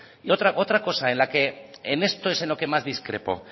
y otra cosa en la que en esto es en lo que más discrepo